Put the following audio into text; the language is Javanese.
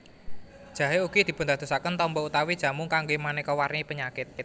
Jahé ugi dipundadosaken tamba utawi jamu kanggé manéka warni penyakit